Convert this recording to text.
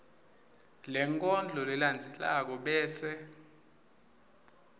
lenkondlo lelandzelako bese